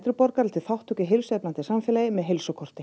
borgara til þátttöku í heilsueflandi samfélagi með